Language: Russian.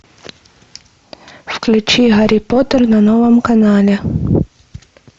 включи гарри поттер на новом канале